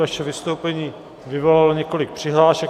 Vaše vystoupení vyvolalo několik přihlášek.